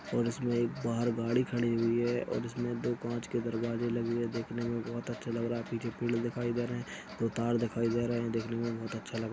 और इसमें एक बाहर गाड़ी हुई है और इसमें दो काँच के दरवाजे लगे हुए देखने में बहुत अच्छा लग रहा है पीछे फील्ड दिखाई दे रहे है दो तार दिखाई दे रहे है देखने में बहुत अच्छा लग रहा हैं।